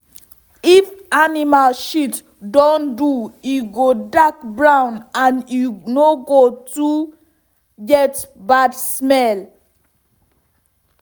if animal shit don do e go dark brown and e no go too get bad smell.